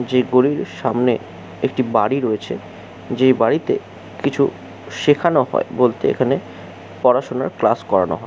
যে গলির সামনে একটি বাড়ি রয়েছে। যে বাড়িতে কিছু শেখানো হয় বলতে এখানে পড়াশোনার ক্লাস করানো হয়।